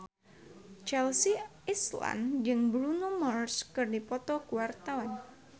Chelsea Islan jeung Bruno Mars keur dipoto ku wartawan